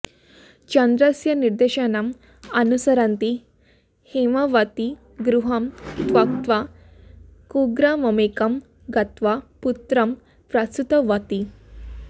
चन्द्रस्य निदेशनम् अनुसरन्ती हेमवती गृहं त्यक्त्वा कुग्राममेकं गत्वा पुत्रं प्रसूतवती